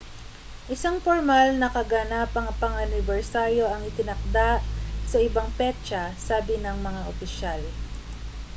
isang pormal na kaganapang pang-anibersaryo ang itinakda sa ibang petsa sabi ng mga opisyal